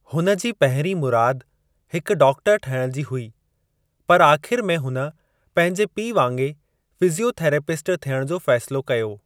हुन जी पहिरीं मुराद हिकु डॉक्टरु ठहिण जी हुई, पर आख़िरि में हुन पंहिंजे पीउ वांगे फ़िज़ियोथेरेपिस्ट थियणु जो फ़ैसिलो कयो।